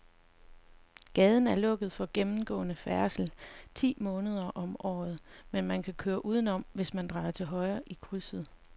Gaden er lukket for gennemgående færdsel ti måneder om året, men man kan køre udenom, hvis man drejer til højre i krydset.